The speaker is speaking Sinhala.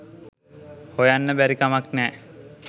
හොයන්න බැරි කමක් නෑ